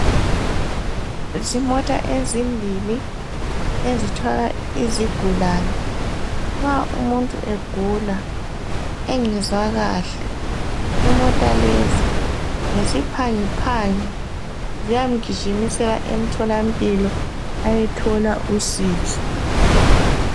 Zimota ezimbili ezithwala izigulani nxa umuntu egula engezwa kahle, imota lezi ngesiphangiphangi ziyamgijimisela emtholampilo ayethola usizo.